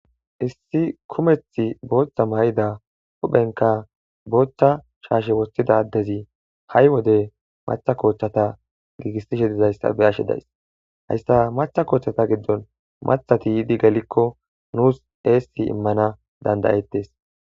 Issi kumeth booththa may7ida hohphenka boochcha shaashe wostida ddezi ha7i wode macha koochchata giigissishe dizayssa be ashe days hayssa macha koochtchata giddon mathati yiidi galikko nuus eessi immana dandayettes.